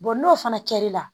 n'o fana kɛr'i la